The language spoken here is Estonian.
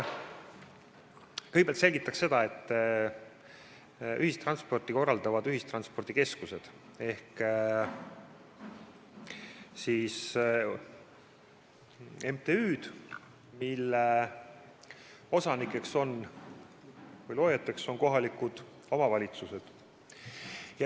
Kõigepealt selgitaks seda, et ühistransporti korraldavad ühistranspordikeskused ehk MTÜ-d, mille osanikeks on kohalikud omavalitsused.